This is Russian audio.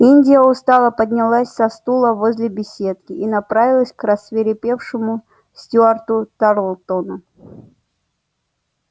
индия устало поднялась со стула возле беседки и направилась к рассвирепевшему стюарту тарлтону